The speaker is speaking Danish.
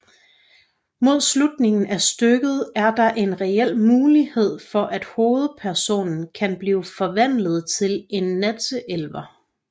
Mod slutningen af stykket er der en reel mulighed for at hovedpersonen kan blive forvandlet til en natteelver